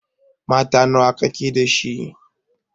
Mata nawa ka ke da shi?